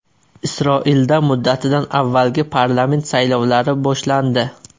Isroilda muddatidan avvalgi parlament saylovlari boshlandi.